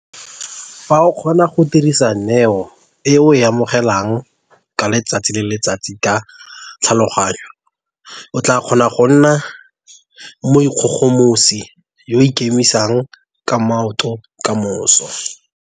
Fa o ka kgona go dirisa neo e o e amogelang ka letsatsi le letsatsi ka tlhaloganyo, o tlaa kgona go nna moikgogomosi yo a ikemisang ka maoto ka moso.